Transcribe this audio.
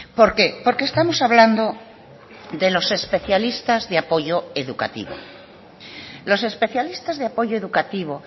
por qué porque estamos hablando de los especialistas de apoyo educativo los especialistas de apoyo educativo